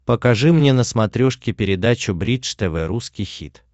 покажи мне на смотрешке передачу бридж тв русский хит